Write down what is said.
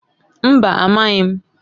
Mba! Amaghị m.